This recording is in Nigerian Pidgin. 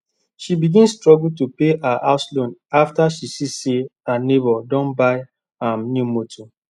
she begin struggle to pay her house loan afta she see say her neighbor don buy um new motor